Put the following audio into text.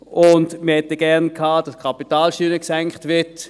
Wir hätten gerne gehabt, dass die Kapitalsteuern gesenkt werden.